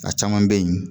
A caman bɛ yen